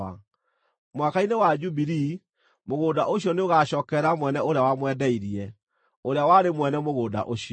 Mwaka-inĩ wa Jubilii, mũgũnda ũcio nĩũgacookerera mwene ũrĩa wamwendeirie, ũrĩa warĩ mwene mũgũnda ũcio.